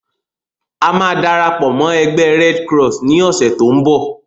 A máa darapọ̀ mọ́ ẹgbẹ́ "Red Cross" ni ọ̀sẹ̀ to ń bọ̀.